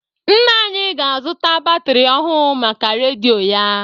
Nna anyị ga-azụta batịrị ọhụ maka redịo ya.